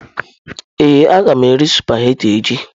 Ee, a ga m eri sụpaghetị echi.